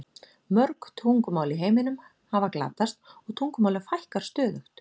Mörg tungumál í heiminum hafa glatast og tungumálum fækkar stöðugt.